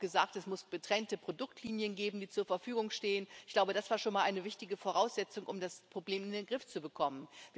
Wir haben auch gesagt, es muss getrennte Produktlinien geben, die zur Verfügung stehen. Ich glaube, das war schon mal eine wichtige Voraussetzung, um das Problem in den Griff zu bekommen.